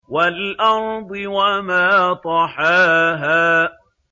وَالْأَرْضِ وَمَا طَحَاهَا